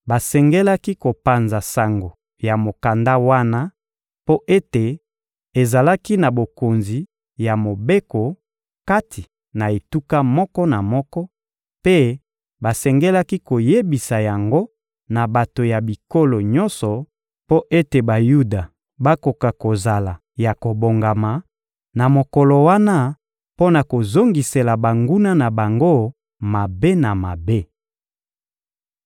Basengelaki kopanza sango ya mokanda wana mpo ete ezalaki na bokonzi ya mobeko kati na etuka moko na moko, mpe basengelaki koyebisa yango na bato ya bikolo nyonso mpo ete Bayuda bakoka kozala ya kobongama na mokolo wana mpo na kozongisela banguna na bango mabe na mabe.